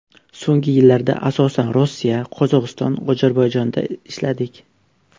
So‘nggi yillarda, asosan, Rossiya, Qozog‘iston, Ozarbayjonda ishladik.